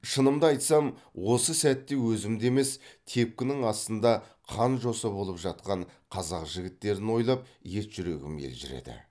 шынымды айтсам осы сәтте өзімді емес тепкінің астында қан жоса болып жатқан қазақ жігіттерін ойлап ет жүрегім елжіреді